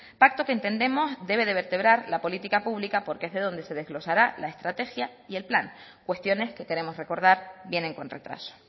pacto que entendemos debe de vertebrar la política pública porque es de donde se desglosará la estrategia y el plan cuestiones que queremos recordar vienen con retraso